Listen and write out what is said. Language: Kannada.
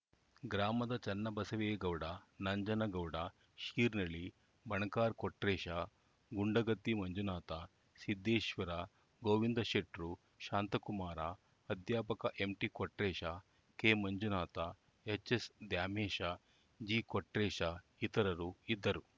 ಗ್ರಾಮದ ಚನ್ನಬಸವೆ ಗೌಡ ನಂಜನಗೌಡ ಶೀರ್ನಳಿ ಬಣಕಾರ್‌ ಕೊಟ್ರೇಶ ಗುಂಡಗತ್ತಿ ಮಂಜುನಾಥ ಸಿದ್ದೇಶ್ವರ ಗೋವಿಂದ ಶೆಟ್ರು ಶಾಂತಕುಮಾರ ಅಧ್ಯಾಪಕ ಎಂಟಿಕೊಟ್ರೇಶ ಕೆಮಂಜುನಾಥ ಎಚ್‌ಎಸ್‌ದ್ಯಾಮೇಶ ಜಿಕೊಟ್ರೇಶ ಇತರರು ಇದ್ದರು